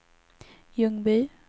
Ljungby